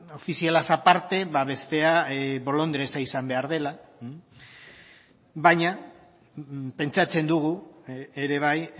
ofizialaz aparte bestea bolondresa izan behar dela baina pentsatzen dugu ere bai